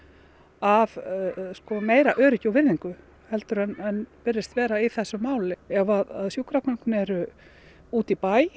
af meira öryggi og virðingu heldur en virðist vera í þessu máli ef sjúkragögn eru úti í bæ